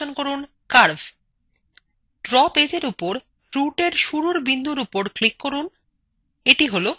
draw পেজএর উপর routeএর শুরুর বিন্দুর উপর click করুনএটি হলো home